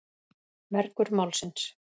Mergur málsins.